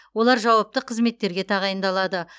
олар жауапты қызметтерге тағайындалады